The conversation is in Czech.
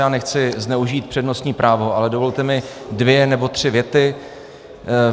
Já nechci zneužít přednostní právo, ale dovolte mi dvě nebo tři věty.